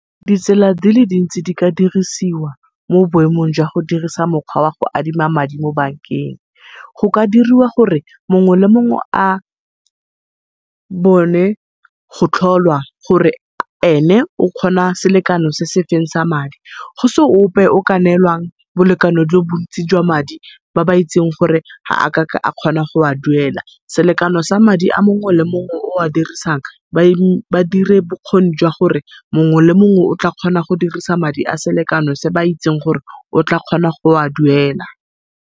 Ditsela dile dintsi di ka dirisiwa mo boemong jwa go dirisa mokgwa wa go adima madi mo bank-eng. Go ka diriwa gore mongwe le mongwe a go tlholwa gore ene o kgona selekano se sefeng sa madi. Go se ope o ka nelwang bolekano jo bontsi jwa madi ba ba itsing gore gaakaka akgona go a duela. Selekano sa madi a mongwe le mongwe o a dirisang ba dire bokgoni jwa gore mongwe le mongwe o tla kgona go dirisa madi a selekano se ba itsing gore o tla kgona go a duela.